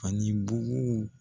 Ani buguw